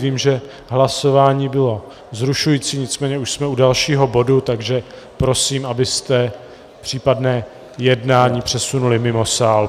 Vím, že hlasování bylo vzrušující, nicméně už jsme u dalšího bodu, takže prosím, abyste případné jednání přesunuli mimo sál.